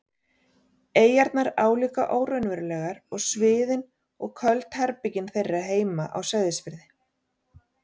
eyjarnar álíka óraunverulegar og sviðin og köld herbergin þeirra heima á Seyðisfirði.